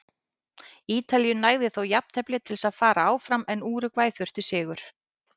Ítalíu nægði þó jafntefli til að fara áfram en Úrúgvæ þurfti sigur.